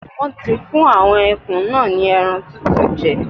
Wọ́n ti fún àwọn ẹkùn náà ni ẹran tútù jẹ.